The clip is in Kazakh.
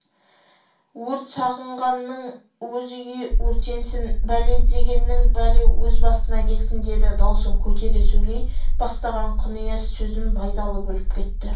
өрт сағынғанның өз үйі өртенсін бәле іздегеннің бәле өз басына келсін деді даусын көтере сөйлей бастаған құнияз сөзін байдалы бөліп кетті